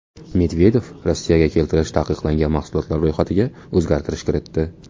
Medvedev Rossiyaga keltirish taqiqlangan mahsulotlar ro‘yxatiga o‘zgartirish kiritdi.